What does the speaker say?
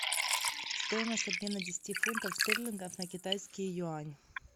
стоимость обмена десяти фунтов стерлингов на китайский юань